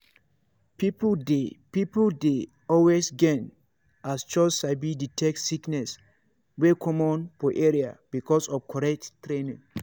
people dey people dey always gain as chws sabi detect sickness wey common for area because of correct training.